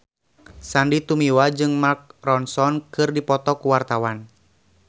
Sandy Tumiwa jeung Mark Ronson keur dipoto ku wartawan